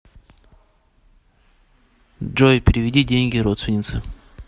джой переведи деньги родственнице